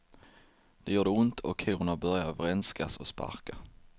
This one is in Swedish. Det gjorde ont och korna började vrenskas och sparka.